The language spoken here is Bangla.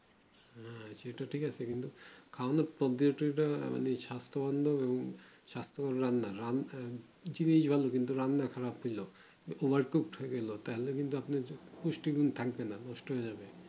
আঃ সেটা ঠিক আছে কিন্তু খাওনোর পদ্ধতিটা আমাদের স্বাস্থ বান দের জিনিস ভালো কিন্তু রান্না খারাপ করলেও তাহলে কিন্তু পুষ্টিগুণ থাকবেনা নষ্ট হয়ে যাবে